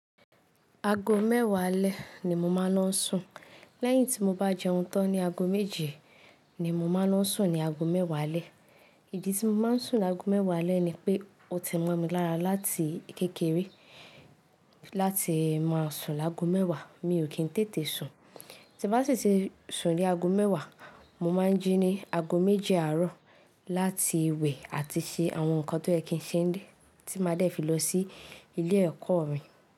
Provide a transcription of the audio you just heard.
Ago mẹ́wàá alẹ́ ni mo máa ń lọ sùn. Lẹ́yìn tí mo bá jẹun tán ní ago méje ni mo máa ń sùn ní ago mẹ́wàá alẹ́. Ìdí tí mo máa ń sùn ní ago mẹ́wàá alẹ́ ni pé ó ti mọ́ mi lára láti kékeré láti máa sùn lágo mẹ́wàá. Mi ò kí ń tètè sùn. Tí mo bá sì ti sùn lé ago mẹ́wàá, mo máa ń jí ní ago méje àárọ̀ láti wẹ̀ àti ṣe àwọn nǹkan tó ẹkín ṣe dé tí máa dẹ̀ fi lọ sí ilé ẹ̀kọ́ mi.